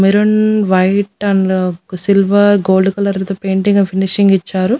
Maroon white and ఒక silver gold కలర్లతో painting finishing ఇచ్చారు.